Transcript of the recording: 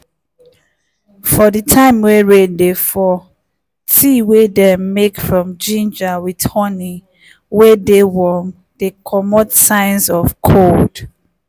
for di time wey rain dey fall tea wey dem make from ginger with honey wey dey warm dey comot signs of cold.